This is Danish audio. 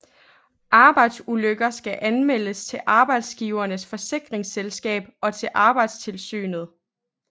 Arbejdsulykker skal anmeldes til arbejdsgiverens forsikringsselskab og til Arbejdstilsynet